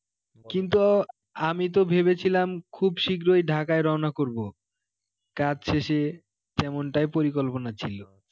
কিন্তু আমি তো ভেবেছিলাম খুব শীঘ্রই ঢাকায় রওনা করব, কাজ শেষে তেমনটাই পরিকল্পনা ছিল